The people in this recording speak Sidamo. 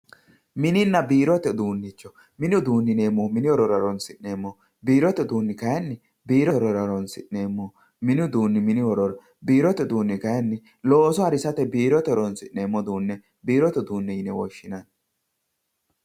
mininna biirote uduunnichcho mini uduunni yineemmohu mini horora horoonsi'neemmoho biirote uduunni kayiinni biirote horora horonsi'neemmoho mini uduunni mini horora biirote uduunni kayiinni looso harisate biirote horonsi'neemmo uduunne biirote uduunne yine woshshinanni